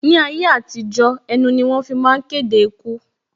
Ni ayé àtijó, ẹnu ni wọ́n fi ń máa ń kéde ikú